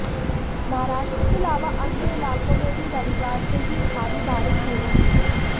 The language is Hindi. महाराष्ट्र के अलावा अन्य इलाकों में भी रविवार से ही भारी बारिश हो रही है